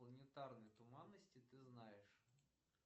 планетарной туманности ты знаешь